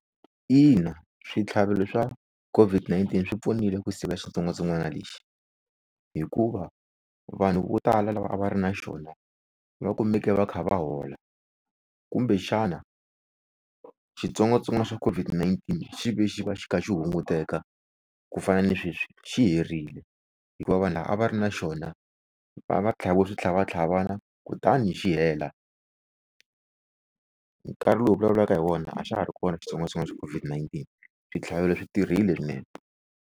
Ina switlhavelo swa COVID-19 swi pfunile ku siva xitsongwatsongwana lexi. Hikuva vanhu vo tala lava a va ri na xona va kumeke va kha va hola, kumbexana xitsongwatsongwana xa COVID-19 xi ve xi va xi kha xi hunguteka, ku fana na sweswi xi herile hikuva vanhu lava a va ri na xona va tlhaviwie switlhavatlhavana kutani xi hela. Nkarhi lowu vulavulaka hi wona a xa ha ri kona xitsongwatsongwana xa COVID-19 switlhavelo swi tirhile nee.